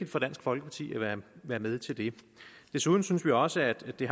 for dansk folkeparti at være med til det desuden synes vi også at det